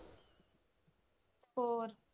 ਹੋਰ?